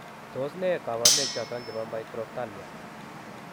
Tos nee kabarunaik choton chebo Microphthalmia ?